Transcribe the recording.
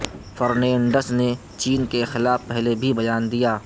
Fernandes نے چین کے خلاف پہلے بھی بیان دیا